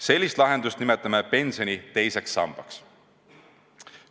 Sellist lahendust nimetame pensioni teiseks sambaks.